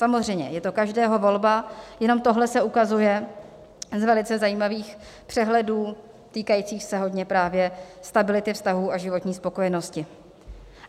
Samozřejmě je to každého volba, jenom tohle se ukazuje z velice zajímavých přehledů týkajících se hodně právě stability vztahů a životní spokojenosti.